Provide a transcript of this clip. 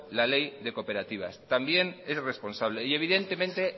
la ley de cooperativas maneiro jauna amaitzen joan también es responsable y